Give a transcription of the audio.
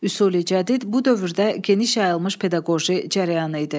Üsul-i Cədid bu dövrdə geniş yayılmış pedaqoji cərəyanı idi.